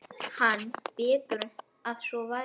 Hann: Betur að svo væri.